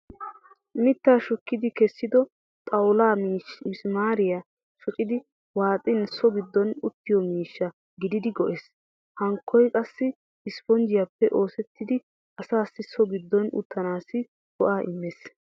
Mittaa shukkidi kessido xawullaa misimaariya shocidi waaxin so giddon uttiyo miishsha gididi go'ees. Hankoy qassi isiponjjiyaappe oosettidi asaassi so giddon uttanaassi go'aa immees.